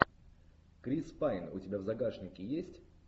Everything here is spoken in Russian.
крис пайн у тебя в загашнике есть